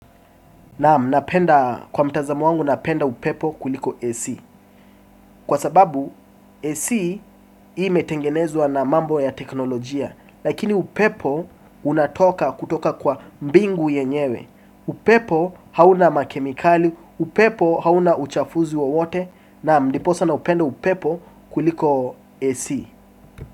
Naam napenda kwa mtazamo wangu napenda upepo kuliko AC. Kwa sababu AC imetengenezwa na mambo ya teknolojia. Lakini upepo unatoka kutoka kwa mbingu yenyewe. Upepo hauna makemikali, upepo hauna uchafuzi wowote. Naam dipo sa naupenda upepo kuliko AC.